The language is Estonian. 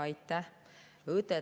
Aitäh!